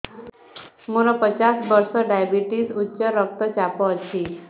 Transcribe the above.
ମୋର ପଚାଶ ବର୍ଷ ଡାଏବେଟିସ ଉଚ୍ଚ ରକ୍ତ ଚାପ ଅଛି